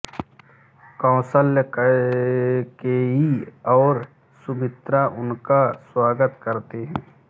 कौशल्या कैकेयी और सुमित्रा उनका स्वागत करते हैं